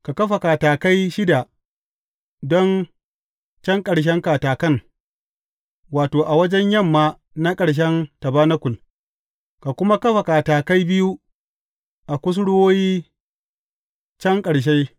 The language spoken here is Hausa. Ka kafa katakai shida don can ƙarshen katakan, wato, a wajen yamma na ƙarshen tabanakul, ka kuma kafa katakai biyu a kusurwoyi can ƙarshe.